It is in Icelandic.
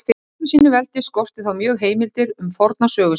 En í öllu sínu veldi skorti þá mjög heimildir um forna sögu sína.